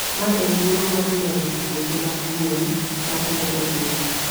ma en thuolo mar lero tuoche mag gwen machando jopith.